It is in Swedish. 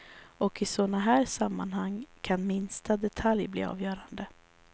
Och i sådana här sammanhang kan minsta detalj bli avgörande.